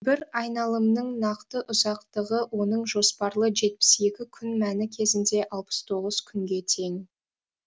бір айналымның нақты ұзақтығы оның жоспарлы жетпіс екі күн мәні кезінде алпыс тоғыз күнге тең